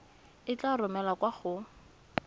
e tla romelwa kwa go